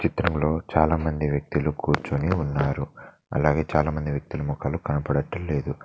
ఈ చిత్రంలో చాలామంది వ్యక్తులు కూర్చొని ఉన్నారు అలాగే చాలామంది వ్యక్తుల ముఖాలు కనబడుటలేదు.